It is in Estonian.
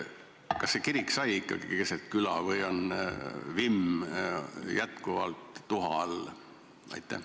Kas see kirik sai ikkagi keset küla või on vimm jätkuvalt tuha all?